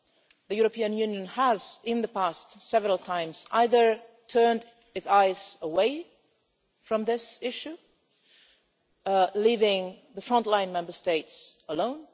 The European Union has, in the past, several times either turned its eyes away from this issue, leaving the front line Member States alone.